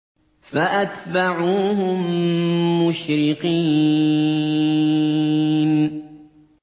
فَأَتْبَعُوهُم مُّشْرِقِينَ